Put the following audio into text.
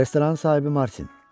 Restoranın sahibi Martin.